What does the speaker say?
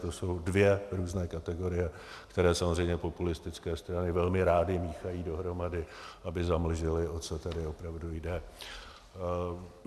To jsou dvě různé kategorie, které samozřejmě populistické strany velmi rády míchají dohromady, aby zamlžily, o co tady opravdu jde.